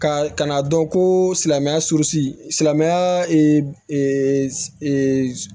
Ka kan'a dɔn ko silamɛya surun silamaya